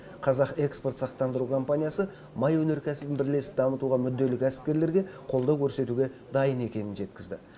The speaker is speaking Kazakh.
қазақ экспорт сақтандыру компаниясы май өнеркәсібін бірлесіп дамытуға мүдделі кәсіпкерлерге қолдау көрсетуге дайын екенін жеткізді